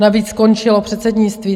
Navíc skončilo předsednictví.